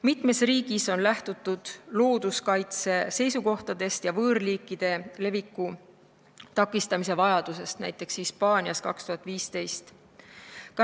Mitmes riigis on lähtutud looduskaitse seisukohtadest ja võõrliikide leviku takistamise vajadusest, näiteks Hispaanias 2015.